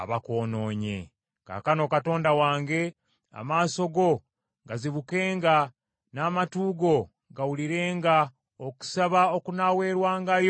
“Kaakano Katonda wange, amaaso go gazibukenga, n’amatu go gawulirenga okusaba okunaaweerwangayo mu kifo kino.